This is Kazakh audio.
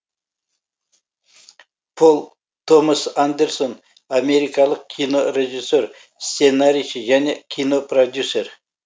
пол томас андерсон америкалық кинорежиссер сценарийші және кинопродюсер